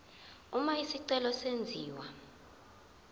uma isicelo senziwa